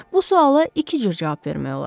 Bu suala iki cür cavab vermək olar.